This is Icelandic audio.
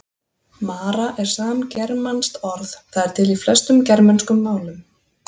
Mara er samgermanskt orð, það er til í flestum germönskum málum.